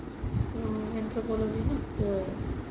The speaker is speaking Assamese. অ anthropology ন?